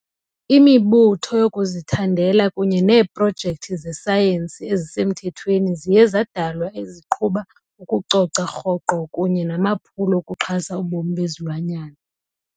imibutho yokuzithandela kunye neeprojekthi zesayensi ezisemthethweni ziye zadalwa eziqhuba ukucoca rhoqo kunye namaphulo okuxhasa ubomi bezilwanyana.